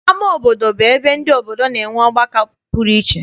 Ama obodo bụ ebe ndị obodo na-enwe ọgbakọ pụrụ iche.